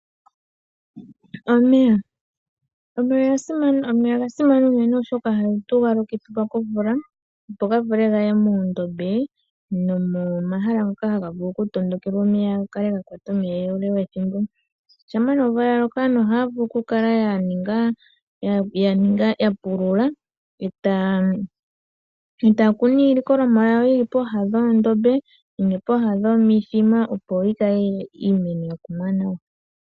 Omeya Omeya oga simana unene, oshoka ohatu ga lokithilwa komvula, opo ga vule gaye muundombe nomomahala ngoka haga vulu okutondokela omeya ga kale ga kwata omeya ethimbo ele. Shampa omvula ya loko aantu ohaya vulu oku kala ya pulula e taya kunu iilikolomwa yawo yi li pooha dhoondombe nenge pooha dhomithima, opo yi kale iimeno ya kumwa nawa.